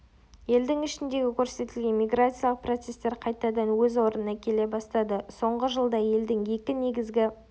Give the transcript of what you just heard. елдің ішіндегі көрсетілген миграциялық процестер қайтадан өз орнына келе бастады соңғы жылда елдің екі негізгі